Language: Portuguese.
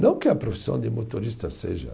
Não que a profissão de motorista seja.